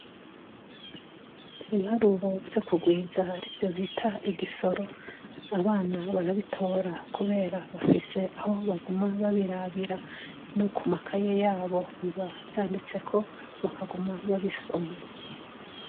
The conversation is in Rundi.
Ibibaruro vyo kugwiza arivyo bita igisoro, abana barabitora kubera bafise aho baguma babirabira; no ku makaye yabo biba vyanditseko, bakaguma babisoma.